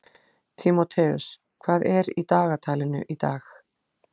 Tímóteus, hvað er í dagatalinu í dag?